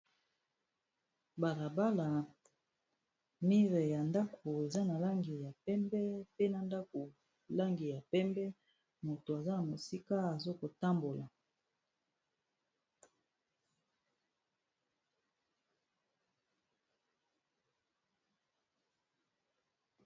Balabala, mure ya ndako eza na langi ya pembe, pe na ndako langi ya pembe, mutu aza na mosika azokotambola.